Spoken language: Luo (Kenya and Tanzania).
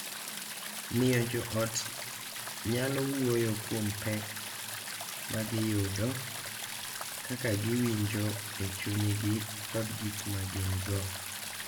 Miyo jo ot nyalo wuoyo kuom pek ma giyudo, kaka giwinjo e chunygi, kod gik ma gin-go.